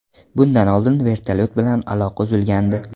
Bundan oldin vertolyot bilan aloqa uzilgandi.